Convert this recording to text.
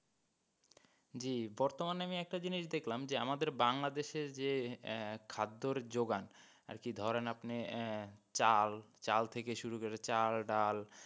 জি বর্তমানে আমি একটা জিনিস দেখলাম যে আমাদের বাংলাদেশের যে এক খাদ্যর যোগান আরকি ধরেন আপনি আহ চাল, চাল থেকে শুরু করে চাল, ডাল,